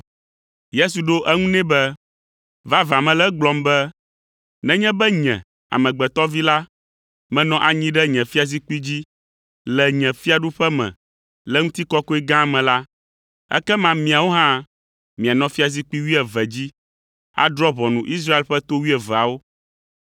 Yesu ɖo eŋu nɛ be, “Vavã mele egblɔm be, nenye be Nye, Amegbetɔ Vi la, menɔ anyi ɖe nye fiazikpui dzi le nye fiaɖuƒe me le ŋutikɔkɔe gã me la, ekema miawo hã mianɔ fiazikpui wuieve dzi, adrɔ̃ ʋɔnu Israel ƒe to wuieveawo,